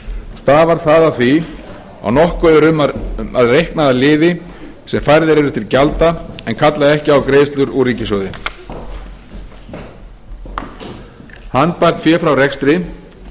stafar það af því að nokkuð er um reiknaða liði sem færðir eru til gjalda en kalla ekki á greiðslur úr ríkissjóði handbært fé frá rekstri